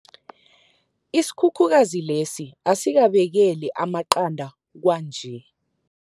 Isikhukhukazi lesi asisabekeli amaqanda kwanje.